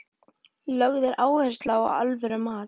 Lögð er áhersla á alvöru mat.